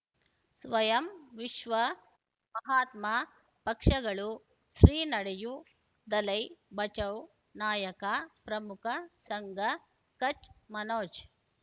ಸ್ವಯಂ ವಿಶ್ವ ಮಹಾತ್ಮ ಪಕ್ಷಗಳು ಶ್ರೀ ನಡೆಯೂ ದಲೈ ಬಚೌ ನಾಯಕ ಪ್ರಮುಖ ಸಂಘ ಕಚ್ ಮನೋಜ್